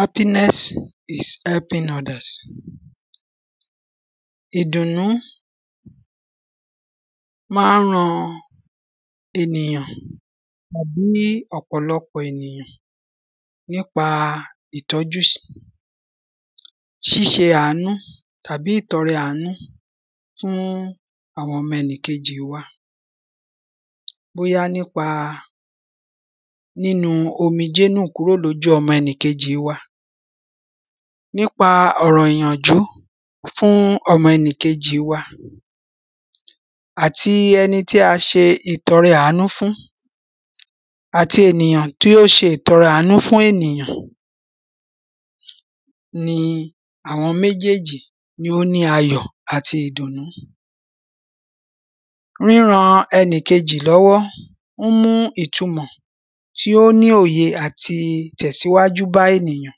Happiness is helping others Ìdunnu máa ń ran ènìyàn tàbí ọ̀pọ̀lọpọ̀ ènìyàn nípa ìtọ́jú ṣíṣe àánú àbí ìtọrẹ àánú fún àwọn ọmọ ẹnikejì wa Bóyá nípa nínu omijé nù kúrò lójú ọmọ ẹnìkejì wa nípa ọ̀rọ̀ ìyànjú fún ọmọ ẹnìkejì wa Àti ẹni tí a ṣe ìtọrẹ àánú fún àti ènìyàn tí ó ṣe ìtọrẹ àánú fún ènìyàn ni àwọn méjéèjì ni ó ní ayọ̀ àti ìdùnnú Ríran ẹnìkejì lọ́wọ́ ó ń mú ìtumọ̀ tí ó ní òye àti ìtẹ̀síwájú bá ènìyàn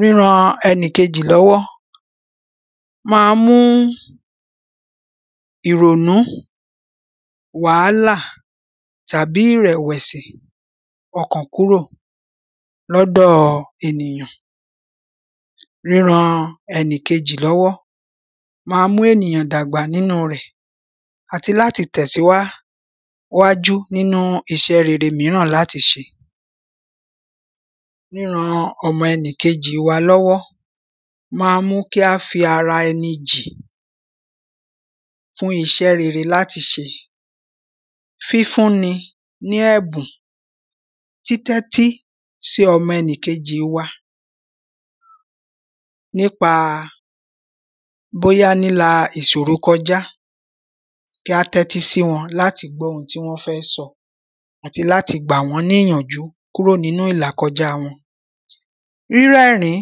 Ríran ẹnikejì lọ́wọ́ máa ń mú ìrònú wàhálà tàbí ìrẹ̀wẹ̀sì ọkàn kúrò ní ọ̀dọ̀ ènìyàn Ríran ẹnìkejì lọ́wọ́ máa ń mú ènìyàn dàgbà nínú rẹ̀ àti láti tẹ̀síwá wájú nínú iṣẹ́ rere mìíràn láti ṣe Ríran ọmọẹnikejì wa lọ́wọ́ máa ń mú kí a fi ara ẹni jì fún iṣẹ́ rere láti ṣe Fífúni ní ẹ̀bùn títẹ́tí sí ọmọ ẹnìkejì wa nípa bóyá líla ìṣòro kọjá kí a tẹ́tí sí wọn láti gbọ́ oun tí wọ́n fẹ́ sọ àti láti gbà wọ́n ní ìyànjú kúrò ní ìlàkọjá wọn Rírẹ́rìn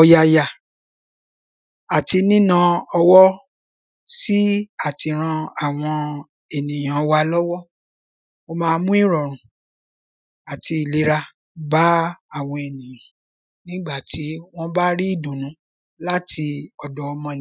ọ̀yàyà àti níná owó sí àti ran àwọn ènìyàn wa lọ́wọ́ ó máa ń mu ìrọ̀rùn àti ìlera bá àwọn ènìyàn nígbà tí wọ́n bá